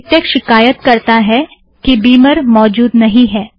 MiKTeX शिकायत करता है कि बिमर मौजूद नहीं है